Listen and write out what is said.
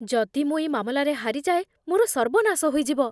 ଯଦି ମୁଁ ଏଇ ମାମଲାରେ ହାରିଯାଏ, ମୋର ସର୍ବନାଶ ହୋଇଯିବ।